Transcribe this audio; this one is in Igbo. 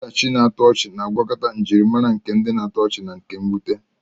Ọdachi na-atọ ọchị na-agwakọta njirimara nke na-atọ ọchị na nke mwute.